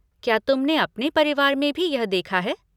क्या तुमने अपने परिवार में भी यह देखा है?